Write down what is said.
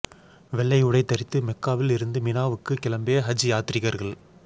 வெள்ளை உடை தரித்து மெக்காவில் இருந்து மினாவுக்கு கிளம்பிய ஹஜ் யாத்ரீகர்கள்